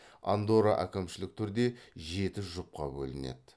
андорра әкімшілік түрде жеті жұпқа бөлінеді